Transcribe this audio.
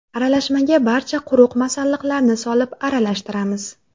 Aralashmaga barcha quruq masalliqlarni solib, aralashtiramiz.